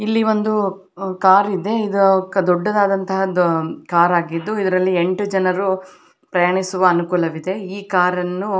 ಇಲ್ಲಿ ಒಂದು ಕಾರಿದೆ ಇದು ದೊಡ್ಡದಾದಂತಹ ಕಾರಗಿದ್ದು ಇದ್ರಲ್ಲಿ ಎಂಟು ಜನರು ಪ್ರಯಾಣಿಸುವ ಅನುಕೂಲವಿದೆ ಈ ಕಾರನ್ನು --